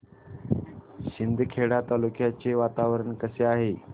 शिंदखेडा तालुक्याचे वातावरण कसे आहे